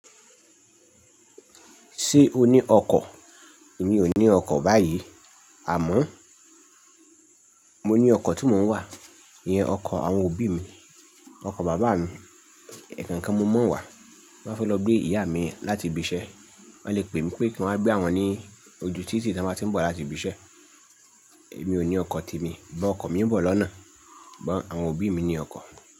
Ṣé o ní ọkọ̀? Mi ò ní ọkọ̀ báyìí àmọ́ mo ní ọkọ̀ tí mò ń wà, ìyẹn ọkọ̀ àwọn òbí mi, ọkọ̀ bàbá mi. Ẹ̀ẹ̀kan kan mo ma wá, ti mo bá fẹ́ lọ gbé ìyá mi láti ibi iṣẹ́, wọ́n lè pè mí pé kí n wá gbé awọn ní ojú títì tí wọ́n bá ti ń bọ̀ láti ibi iṣẹ́. Èmi ò ní ọkọ̀ ti emi, but ọkọ̀ mi ń bọ̀ lọ́nà, sughon àwọn òbí mi ní ọkọ̀.